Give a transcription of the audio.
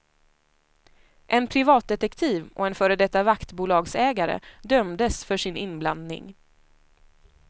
En privatdetektiv och en före detta vaktbolagsägare dömdes för sin inblandning.